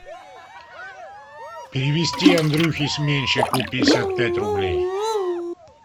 перевести андрюхе сменщику пятьдесят пять рублей